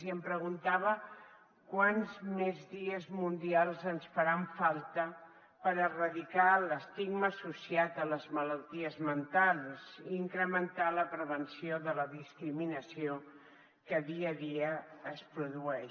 i em preguntava quants més dies mundials ens faran falta per erradicar l’estigma associat a les malalties mentals i incrementar la prevenció de la discriminació que dia a dia es produeix